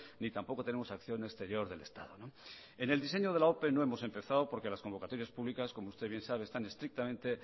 ni tampoco tenemos acción exterior del estado en el diseño de la ope no hemos empezado porque las convocatorias públicas como usted bien sabe están estrictamente